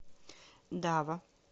дава